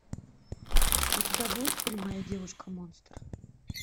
у тебя будет фильм моя девушка монстр